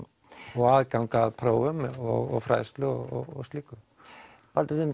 og aðgang að prófum og fræðslu og slíku Baldur